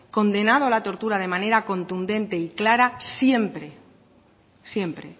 condenado la tortura de manera contundente y clara siempre siempre